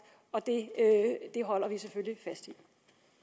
og det holder vi selvfølgelig fast